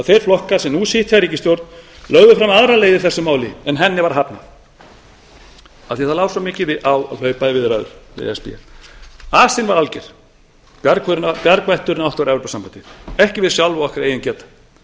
þeir flokkar sem nú sitja í ríkisstjórn lögðu fram aðra leið í þessu máli en henni var hafnað af því að það lá svo mikið á að hlaupa í viðræður við e s b asinn var alger bjargvætturinn átti að vera evrópusambandið ekki við sjálf og okkar eigin geta